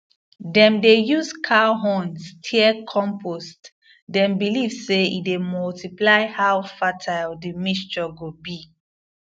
dem dey use cow horn stir compost dem believe say e dey multiply how fertile the mixture go be